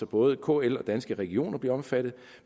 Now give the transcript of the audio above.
både kl og danske regioner nu omfattet